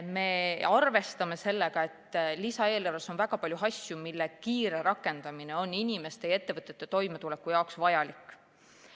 Me arvestame sellega, et lisaeelarves on väga palju asju, mille kiire rakendamine on inimeste ja ettevõtete toimetuleku jaoks vajalik.